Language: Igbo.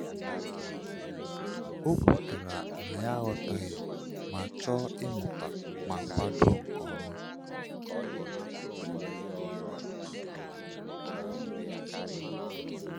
O kwetara na ya aghọtaghị ma chọọ ịmụta ma kwado nke ọma.